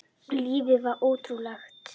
Lífið var ótrúlegt.